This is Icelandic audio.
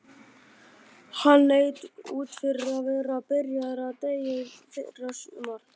Hann leit út fyrir að vera byrjaður að deyja í fyrrasumar.